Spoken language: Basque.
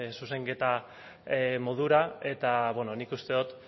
zuzenketa modura eta nik uste dut